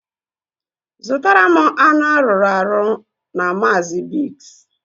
Zụtara m anụ arụrụ arụ na Maazi Biggs